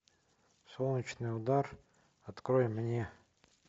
солнечный удар открой мне